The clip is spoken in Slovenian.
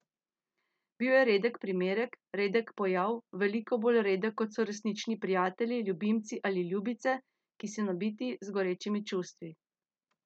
Bil je redek primerek, redek pojav, veliko bolj redek kot so resnični prijatelji, ljubimci ali ljubice, ki so nabiti z gorečimi čustvi.